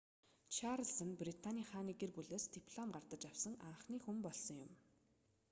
чарлиз нь британы хааны гэр бүлээс диплом гардаж авсан анхны хүн болсон